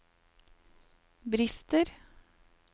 brister